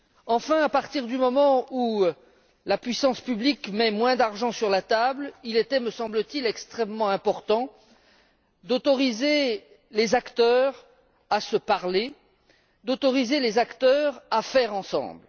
Enfin, à partir du moment où la puissance publique met moins d'argent sur la table, il était me semble t il extrêmement important d'autoriser les acteurs à se parler et à faire ensemble.